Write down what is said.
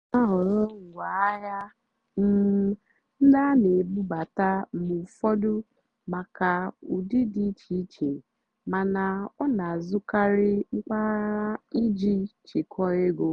ọ́ nà-àhọ̀rọ́ ngwáàhịá um ndí á nà-èbúbátá mgbe ụ́fọ̀dụ́ màkà ụ́dị́ dì íché íché màná ọ́ nà-àzụ́karị́ mpàgàrà ìjì chèkwáà égó.